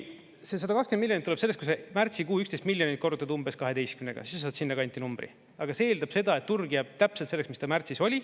See 120 miljonit tuleb sellest, kui sa märtsikuu 11 miljonit korrutad umbes 12-ga, siis sa saad sinna kanti numbri, aga see eeldab seda, et turg jääb täpselt selleks, mis ta märtsis oli.